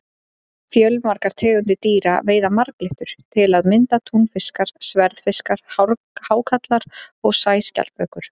Fjölmargar tegundir dýra veiða marglyttur, til að mynda túnfiskar, sverðfiskar, hákarlar og sæskjaldbökur.